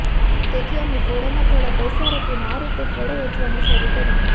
તેથી અમે ફળોમાં થોડાં પૈસા રોકીને આ રીતે ફળો વેચવાનું શરૂ કર્યું